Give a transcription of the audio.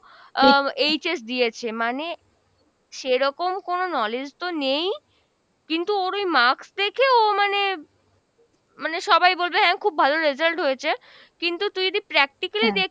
আহ HS দিয়েছে। মানে সেরকম কোনো knowledge তো নেই, কিন্তু ওর ওই marks দেখে ও মানে, মানে সবাই বলবে হ্যাঁ খুব ভালো result হয়েছে, কিন্তু তুই যদি practically দেখ